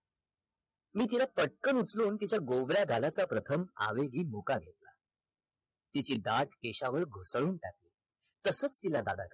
मी तिला पटकन उचलून तिच्या गोबऱ्या गालाचा प्रथम आवेही मुका घेतला तिचे केशावर भोवताळून टाकले तसच तिला दादाकडे